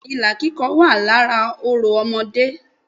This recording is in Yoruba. Bẹ́ẹ̀ni ilà kíkọ wà lára orò ọmọdé